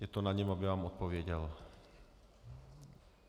Je to na něm, aby vám odpověděl.